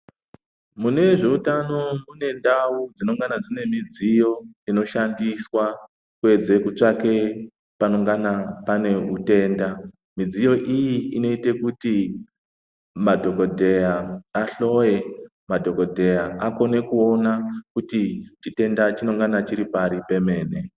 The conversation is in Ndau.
Mune zveutano mune ndau dzinongana dzine midziyo inoshandiswa kuedze kutsvake panongana pane utenda midziyo iyi inoite kuti madhokodheya ahloye madhokodheya akone kuona kuti chitenda chinongana chiri pari pemene.